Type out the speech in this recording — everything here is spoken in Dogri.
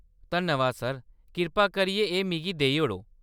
धन्नबाद सर, कृपा करियै एह् मिगी देई ओड़ो ।